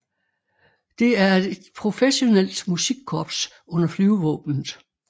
Det er et professionelt musikkorps under Flyvevåbnet